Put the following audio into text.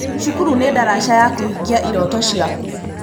Cukuru nĩ ndaraca ya kũhingia iroto ciaku.